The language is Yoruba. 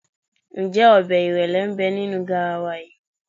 Ǹjẹ́ ọbẹ̀ ìrẹ́lé ń bẹ nínú garawa yìí?